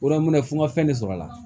O la n m'a minɛ fo n ka fɛn de sɔrɔ a la